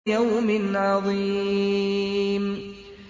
لِيَوْمٍ عَظِيمٍ